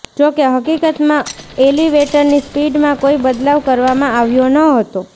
જો કે હકીકતમાં એલિવેટરની સ્પીડમાં કોઈ બદલાવ કરવામાં આવ્યો ન હતો